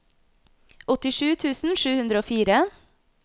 åttisju tusen sju hundre og fire